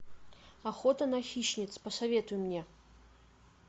охота на хищниц посоветуй мне